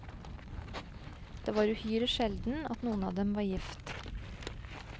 Det var uhyre sjelden at noen av dem var gift.